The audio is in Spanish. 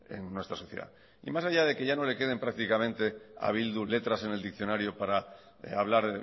en nuestra sociedad y más allá de que ya no le queden prácticamente a bildu letras en el diccionario para hablar